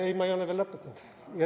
Ei, ma ei ole veel lõpetanud.